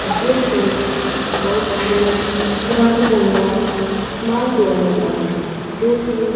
ਜਿਸ ਵਿੱਚ ਬਹੁਤ ਸਾਰੇ ਰੰਗ ਬਿਰੰਗਾ ਸਮਾਨ ਪਿਆ ਹੈਗਾ ਜੋ ਕਿ--